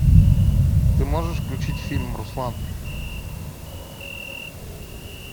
ты можешь включить фильм руслан